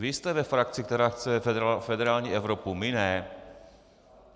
Vy jste ve frakci, která chce federální Evropu, my ne.